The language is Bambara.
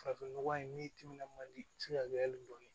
Farafin nɔgɔ in n'i timinan man di i bi se ka kɛ hali bɔn ye